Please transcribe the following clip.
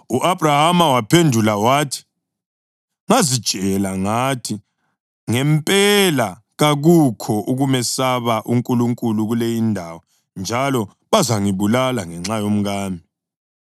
U-Abhrahama waphendula wathi, “Ngazitshela ngathi, ‘Ngempela kakukho ukumesaba uNkulunkulu kule indawo njalo bazangibulala ngenxa yomkami.’